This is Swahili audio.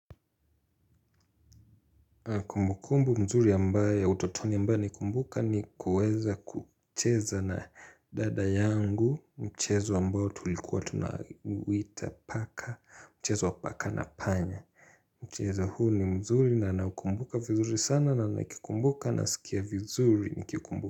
Kumbukumbu nzuri ya utotoni ambayo naikumbuka ni kuweza kucheza na dada yangu mchezo ambao tulikuwa tunauita paka mchezo wa paka na panya mchezo huu ni mzuri na naukumbuka vizuri sana na nikikumbuka nasikia vizuri nikikumbuka.